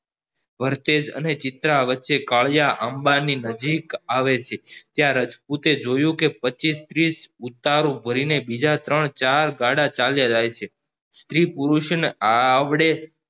વરચેઝ અને ચિત્ર વચ્ચે કડીયા આંબા ની નજીક આવે છે ત્યાં રાજપુત એ જોયું કે પચીસ ત્રીસ ઉતારો ભરીને બીજા ત્રણ ચાર ગાળા ચાલ્યા જાય છે સ્ત્રી પુરુષ ને આવડે